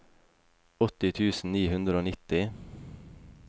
åtti tusen ni hundre og nitti